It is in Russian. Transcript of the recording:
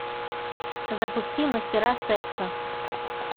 запусти мастера секса